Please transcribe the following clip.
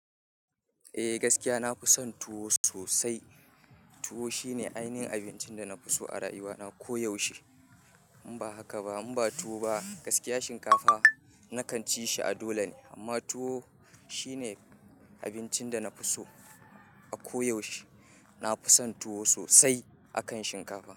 Eh gaskiya na fi son tuwo sosai. Tuwo shine ainihin abincin da na fi so a rayuwa na koyaushe. In ba haka ba, in ba tuwo ba gaskiya shinkafa na kan ci shi a dole ne amma tuwo shine abincin da na fi so a koyaushe. Na fi son tuwo sosai akan shinkafa.